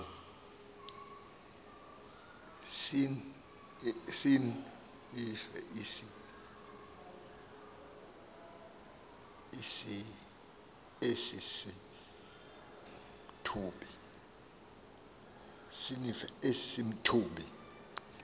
sinin esi simthubi